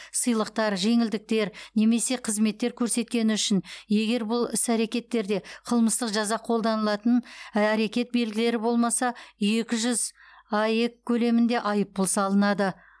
сыйлықтар жеңілдіктер немесе қызметтер көрсеткені үшін егер бұл іс әрекеттерде қылмыстық жаза қолданылатын әрекет белгілері болмаса екі жүз аек мөлшерінде айыппұл салынады